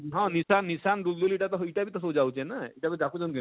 ହଁ ଲିସାନ ଲିସାନ ଦୁଲଦୁଲି ଇଟା ତ ଇଟା ବି ତ ସବୁ ଯାଉଛେ ନା ଇଟା ବି ଡାକୁଛନ କିନି?